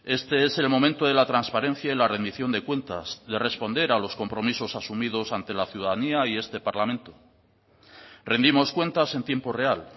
este es el momento de la transparencia y la rendición de cuentas de responder a los compromisos asumidos ante la ciudadanía y este parlamento rendimos cuentas en tiempo real